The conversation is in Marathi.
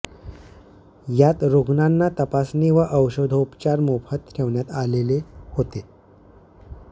यात रुग्णांना तपासणी व औषधोपचार मोफत ठेवण्यात आलेले होते